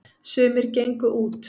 sumir gengu út